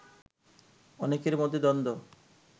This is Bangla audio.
অনেকের মধ্যে দ্বন্দ্ব